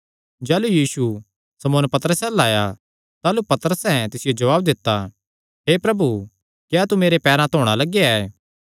जाह़लू यीशु शमौन पतरसे अल्ल आया ताह़लू पतरसैं तिसियो ग्लाया हे प्रभु क्या तू मेरे पैरां धोणा लगेया ऐ